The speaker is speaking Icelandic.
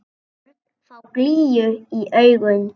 Börn fá glýju í augun.